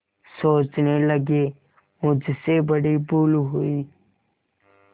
सोचने लगेमुझसे बड़ी भूल हुई